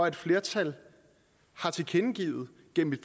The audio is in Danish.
at et flertal har tilkendegivet